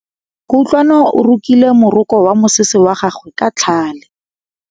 Kutlwanô o rokile morokô wa mosese wa gagwe ka tlhale.